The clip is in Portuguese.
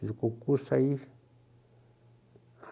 Fiz o concurso aí.